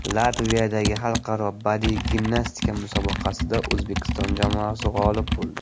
Latviyadagi xalqaro badiiy gimnastika musobaqasida O‘zbekiston jamoasi g‘olib bo‘ldi.